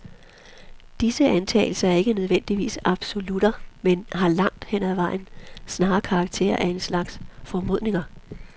Disse antagelser er ikke nødvendigvis absolutter, men har langt hen ad vejen snarere karakter af en slags formodninger.